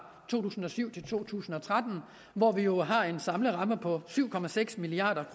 to tusind og syv til to tusind og tretten hvor vi jo har en samlet ramme på syv milliard